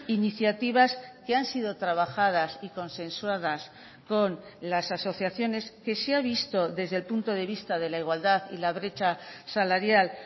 iniciativas que han sido trabajadas y consensuadas con las asociaciones que se ha visto desde el punto de vista de la igualdad y la brecha salarial